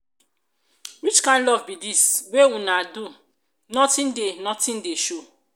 which kin love be dis wey una do nothing dey nothing dey show.